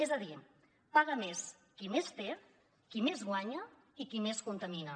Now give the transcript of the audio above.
és a dir paga més qui més té qui més guanya i qui més contamina